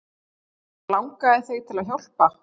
Og langaði þig til að hjálpa?